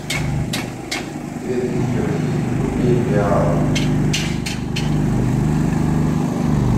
две тысячи российских рублей в реалах